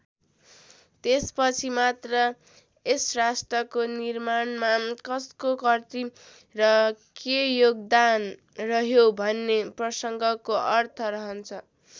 त्यसपछि मात्र यस राष्ट्रको निर्माणमा कसको कति र के योगदान रह्यो भन्ने प्रसङ्गको अर्थ रहन्छ।